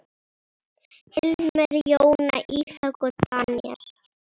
Hilmar, Jóna, Ísak og Daníel.